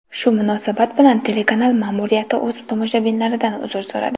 Shu munosabat bilan telekanal ma’muriyati o‘z tomoshabinlaridan uzr so‘radi .